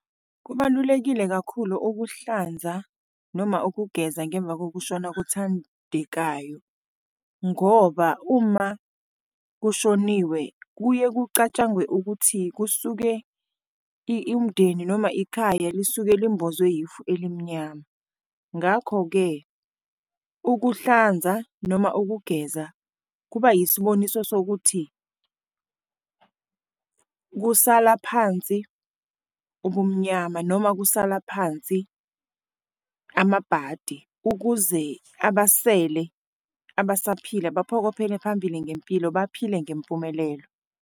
Kubalulekile kakhulu ukuhlanza noma ukugeza ngemva kokushona kothandekayo, ngoba uma kushoniwe kuye kucatshangwe ukuthi kusuke umndeni noma ikhaya lisuke limbozwe yifu elimnyama. Ngakho-ke, ukuhlanza noma ukugeza kuba isiboniso sokuthi kusala phansi ubumnyama noma kusala phansi amabhadi. Ukuze abasele, abasaphila baphokophele phambili ngempilo, baphile ngempumelelo.